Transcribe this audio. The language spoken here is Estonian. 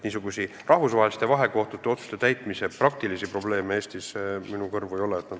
Aga rahvusvaheliste vahekohtute otsuste täitmise praktilisi probleeme Eestis minu kõrvu ei ole jõudnud.